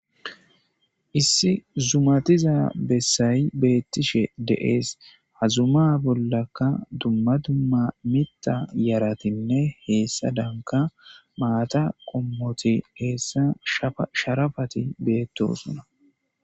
issi zumatiza bessayi beettishe de7ees hazuma bollaka dumma dumma mita yaratinne heessa danka maata qommoti heessa sharafati beettosuna